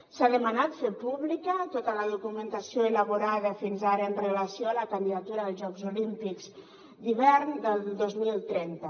s’ha demanat fer pública tota la documentació elaborada fins ara amb relació a la candidatura dels jocs olímpics d’hivern del dos mil trenta